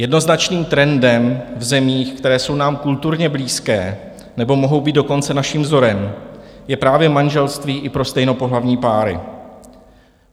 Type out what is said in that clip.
Jednoznačným trendem v zemích, které jsou nám kulturně blízké, nebo mohou být dokonce naším vzorem, je právě manželství i pro stejnopohlavní páry.